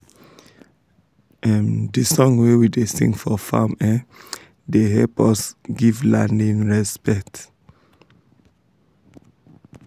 um d song wey we da sing for farm um da hep us um give land him respet